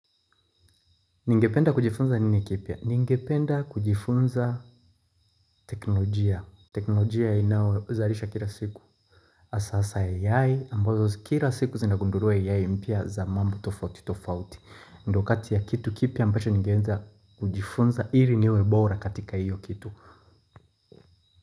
Ningependa kujifunza nini kipya? Ningependa kujifunza teknolojia. Teknolojia inayozalisha kila siku. Hasaa za AI ambazo kila siku zinagunduliwa AI mpya za mambo tofauti tofauti. Ndo kati ya kitu kipya ambacho ningeweza kujifunza ili niwe bora katika hiyo kitu.